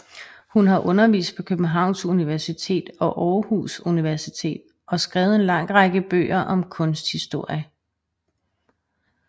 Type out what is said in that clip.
Hun har undervist på Københavns Universitet og Aarhus Universitet og skrevet en lang række bøger om kunsthistorie